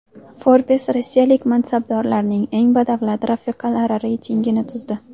Forbes rossiyalik mansabdorlarning eng badavlat rafiqalari reytingini tuzdi.